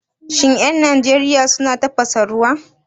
Shin 'yan Najeriya suna tafasa ruwa?